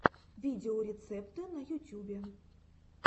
видеорецепты на ютюбе